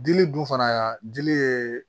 Dili dun fana y'a dili ye